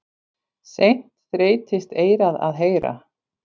Seint þreytist eyrað að heyra.